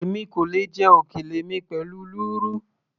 èmi kò lè jẹ òkèlè mi pẹ̀lú lúrú